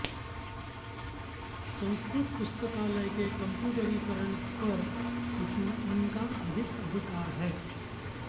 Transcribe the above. संस्कृत पुस्तकालय के कम्प्यूटरीकरण पर इनका अधिक अधिकार है